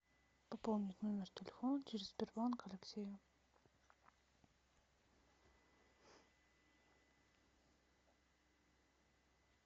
пополнить номер телефона через сбербанк алексею